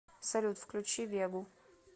салют включи вегу